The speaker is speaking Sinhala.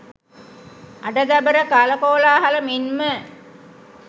අඩ දබර කලකෝලාහල මෙන්ම